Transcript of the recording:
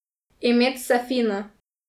Imet se fino.